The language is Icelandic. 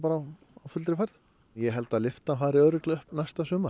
á fullri ferð ég held að lyftan fari örugglega upp næsta sumar